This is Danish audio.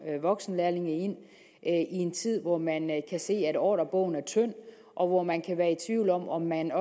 voksenlærlinge i en tid hvor man kan se at ordrebogen er tynd og hvor man kan være i tvivl om om man